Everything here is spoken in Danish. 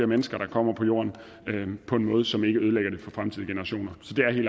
mennesker der kommer på jorden på en måde som ikke ødelægger det for fremtidige generationer